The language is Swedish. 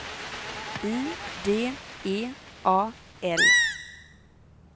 I D E A L